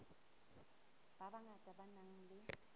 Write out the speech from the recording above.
ba bangata ba nang le